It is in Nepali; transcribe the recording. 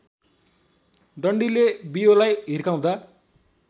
डन्डीले बियोलाई हिर्काउँदा